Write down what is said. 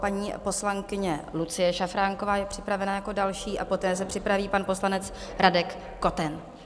Paní poslankyně Lucie Šafránková je připravena jako další a poté se připraví pan poslanec Radek Koten.